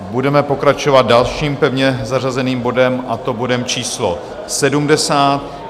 Budeme pokračovat dalším pevně zařazeným bodem, a to bodem číslo